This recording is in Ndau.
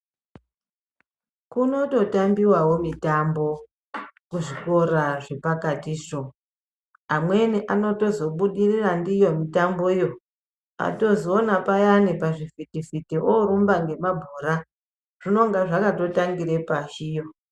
Kunototambiwawo mitambo kuzvikora zvepakatizvo amweni anozobudirira ndiyo mitamboyo atozoona payani pazvivhitivhiti orumba ngemabhora zvinonga zvakatotangira pashiyo.